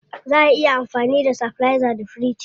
Zaa a iya amfani da stabilizer da firiji.